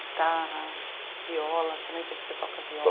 Guitarra, viola, também sei que você toca viola.